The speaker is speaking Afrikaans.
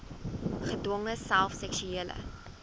gedwonge self seksuele